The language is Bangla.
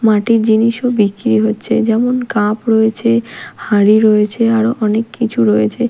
মাটির জিনিসও বিক্রি হচ্ছে যেমন কাপ রয়েছে হাঁড়ি রয়েছে আরও অনেক কিছু রয়েছে।